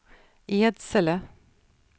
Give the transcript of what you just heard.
Edsele